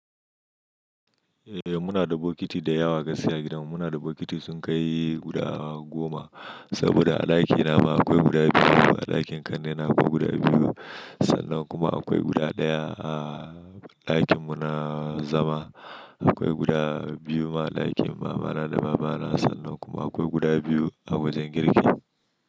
Eh muna da bokiti da yawa kasai a gidanmu. Muna da bokiti sun kai guda goma saboda a ɗakina ma akwai guda biyu, a ɗakin ƙannena akwai guda biyu, sannan kuma akwai guda ɗaya. A ɗakin mu na zama akwai guda biyu ma, a ɗakin mamana da babana a sannan kuma akwai guda biyu a wajen girki.